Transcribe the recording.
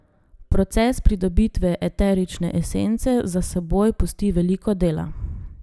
Proces pridobitve eterične esence za seboj pusti veliko dela.